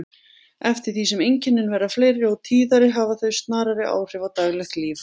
Eftir því sem einkennin verða fleiri og tíðari hafa þau snarari áhrif á daglegt líf.